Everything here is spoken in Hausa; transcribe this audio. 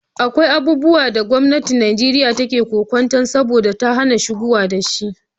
Akwai abubuwan da gwamnatin Nijeriya take kwance ce saboda ta hana shigowa da shi.